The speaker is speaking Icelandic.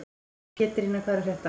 Pétrína, hvað er að frétta?